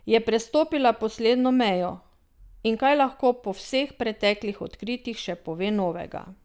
Je prestopila Poslednjo mejo, in kaj lahko po vseh preteklih odkritjih še pove novega?